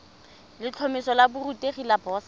letlhomeso la borutegi la boset